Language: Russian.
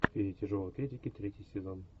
феи тяжелой атлетики третий сезон